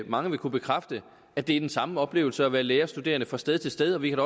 mange vil kunne bekræfte at det er den samme oplevelse at være lærerstuderende fra sted til sted og vi kan